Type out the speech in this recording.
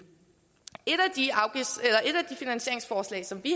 et af de finansieringsforslag som vi